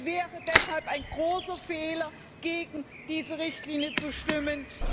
Es wäre deshalb ein großer Fehler, gegen diese Richtlinie zu stimmen.